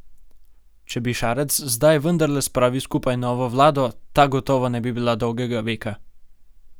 Če bi Šarec zdaj vendarle spravil skupaj novo vlado, ta gotovo ne bi bila dolgega veka.